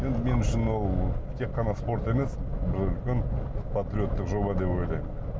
енді мен үшін ол тек қана спорт емес бір үлкен патриоттық жоба деп ойлаймын